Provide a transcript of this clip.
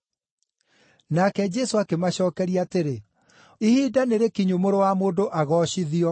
Nake Jesũ akĩmacookeria atĩrĩ, “Ihinda nĩrĩkinyu Mũrũ wa Mũndũ agoocithio.